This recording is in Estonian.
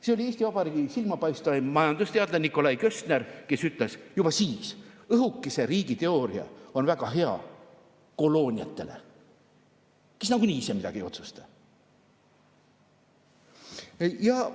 See oli Eesti Vabariigi silmapaistvaim majandusteadlane Nikolai Köstner, kes ütles juba siis: õhukese riigi teooria on väga hea kolooniatele, kes nagunii ise midagi ei otsusta.